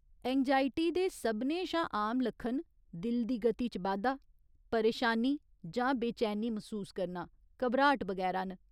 एंगजाइयी दे सभनें शा आम लक्खन दिल दी गति च बाद्धा, परेशानी जां बेचैनी मसूस करना, घबराट बगैरा न।